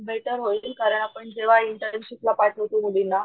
better होईल कारण आपण जेव्हा इंटर्नशिप ला पाठवतो मुलींना,